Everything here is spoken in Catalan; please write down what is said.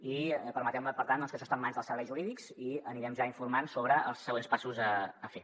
i permeteu me per tant que això està en mans dels serveis jurídics i anirem ja informant sobre els següents passos a fer